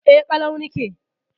E, ƙalau nake.